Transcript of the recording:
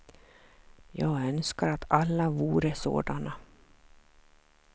Jag önskar att alla vore sådana.